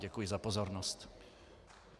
Děkuji za pozornost.